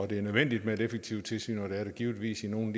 det er nødvendigt med et effektivt tilsyn og det er det givetvis i nogle